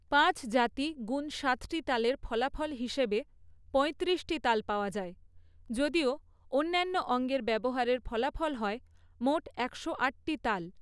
পাঁচ জাতি গুণ সাতটি তালের ফলাফল হিসাবে পঁয়ত্রিশটি তাল পাওয়া যায়, যদিও অন্যান্য অঙ্গের ব্যবহারের ফলাফল হয় মোট একশো আট টি তাল।